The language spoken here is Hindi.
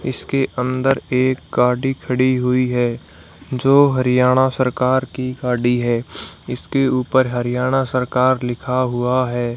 इसके अंदर एक गाड़ी खड़ी हुई है जो हरियाणा सरकार की गाड़ी है इसके ऊपर हरियाणा सरकार लिखा हुआ है।